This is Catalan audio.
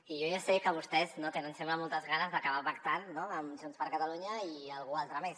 i jo ja sé que vostès no tenen sembla moltes ganes d’acabar pactant no amb junts per catalunya i algú altre més